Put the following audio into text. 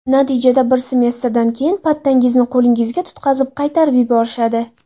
Natijada bir semestrdan keyin pattangizni qo‘lingizga tutqazib, qaytarib yuborishadi.